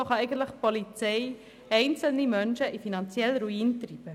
So kann die Polizei einzelne Menschen in den finanziellen Ruin treiben.